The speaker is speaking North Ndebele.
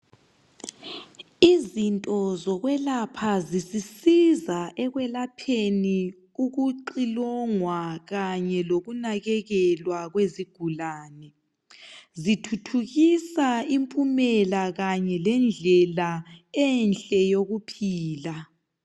Izinto zokwelapha zisisiza ekwelapheni ukuxilongwa kanye lokunakekelwa kwezigulane zithuthukisa impumela kanye lendlela enhle yokuphila.